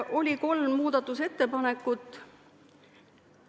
Oli kolm muudatusettepanekut.